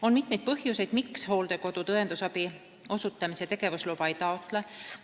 On mitmeid põhjuseid, miks hooldekodud õendusabi osutamise tegevusluba ei taotle.